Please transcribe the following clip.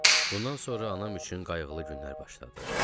Bundan sonra anam üçün qayğılı günlər başladı.